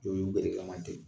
Dɔwɔ ben u tɛ.